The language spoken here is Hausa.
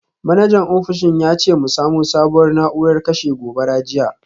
Manajan ofishin ya ce mu samo sabuwar na’urar kashe gobara jiya.